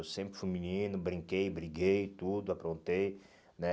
Eu sempre fui menino, brinquei, briguei, tudo, aprontei, né?